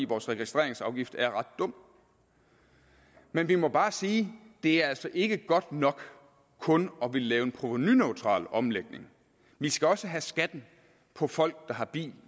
vores registreringsafgift er ret dum men vi må bare sige at det altså ikke er godt nok kun at ville lave en provenuneutral omlægning vi skal også have skatten på folk der har bil